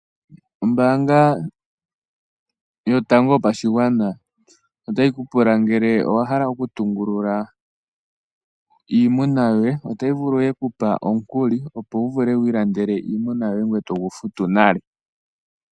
Ombaanga yotango yopashigwana otayi ku pula ngele owa hala okutungulula iimuna yoye, otayi vulu okukupa omukuli, opo wu vule wu ilandele iimuna yoye. Ngoye to gu futu nale.